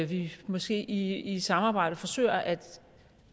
vi måske i et samarbejde forsøger at